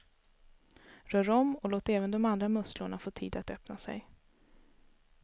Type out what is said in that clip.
Rör om och låt även de andra musslorna få tid att öppna sig.